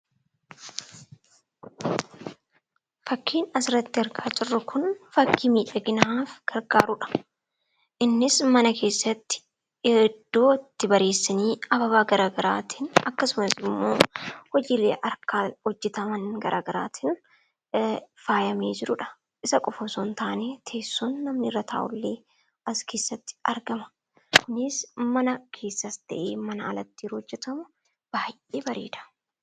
Fakkiin asirratti argaa jirru kun fakkii miidhaginaaf gargaarudha. Innis mana keessatti iddootti bareessanii hababaa gara garaatiin akkasumas hojiilee harkaan hojjetaman gara garaa tiin faayamee jirudha. Isa qofa otoo hin taane teessoon irra taa'amu illee as keessatti argama. Kunis mana keessattis ta'ee mana alatti yeroo hojjetamu baay'ee bareeda.